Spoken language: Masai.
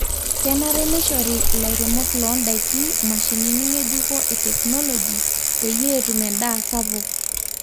kenarikino neishori lairemok loo ndaiki mashinini ngejuko e technology peyie etumi endaa sapuk